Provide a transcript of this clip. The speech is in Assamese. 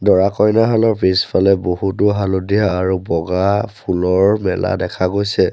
দৰা কইনাহালৰ পিছফালে বহুতো হালধীয়া আৰু বগা ফুলৰ মেলা দেখা গৈছে।